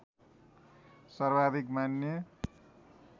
सर्वाधिक मान्य